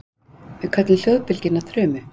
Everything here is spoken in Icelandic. við köllum hljóðbylgjuna þrumu